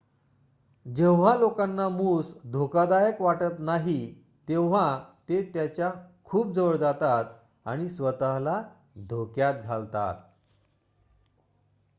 जेव्हा लोकांना मूस धोकादायक वाटत नाही तेव्हा ते त्याच्या खूप जवळ जातात आणि स्वत:ला धोक्यात घालतात